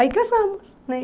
Aí casamos né.